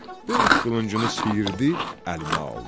Böyük qılıncını siyirdi, əlinə aldı.